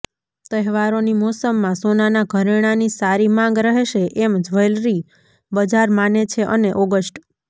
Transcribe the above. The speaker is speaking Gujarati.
તહેવારોની મોસમમાં સોનાનાં ઘરેણાંની સારી માંગ રહેશે એમ જ્વેલરી બજાર માને છે અને ઓગસ્ટ